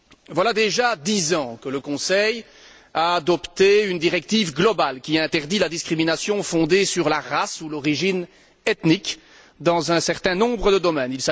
Voilà déjà dix ans que le Conseil a adopté une directive globale qui interdit la discrimination fondée sur la race ou l'origine ethnique dans un certain nombre de domaines.